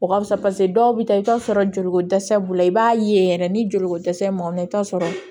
O ka fisa paseke dɔw bɛ taa i bɛ t'a sɔrɔ joli ko dɛsɛ b'u la i b'a ye yɛrɛ ni joliko dɛsɛ man i bɛ t'a sɔrɔ